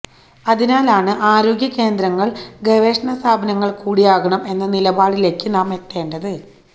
അതിനാലാണ് ആരോഗ്യകേന്ദ്രങ്ങള് ഗവേഷണ സ്ഥാപനങ്ങള് കൂടിയാകണം എന്ന നിലപാടിലേക്ക് നാം എത്തേണ്ടത്